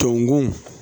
Tɔkun